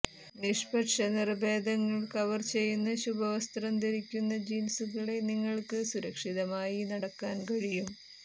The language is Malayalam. നിഷ്പക്ഷ നിറഭേദങ്ങൾ കവർ ചെയ്യുന്ന ശുഭ്രവസ്ത്രം ധരിക്കുന്ന ജീൻസുകളെ നിങ്ങൾക്ക് സുരക്ഷിതമായി നടക്കാൻ കഴിയും